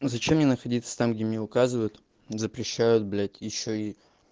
зачем мне находиться там где мне указывают запрещают блять ещё и